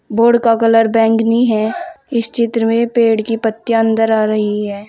Board का colour बैंगनी है इस चित्र में पेड़ की पत्तियां अंदर आ रही है।